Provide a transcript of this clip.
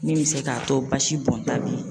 Min mi se k'a to basi bɔnta be yen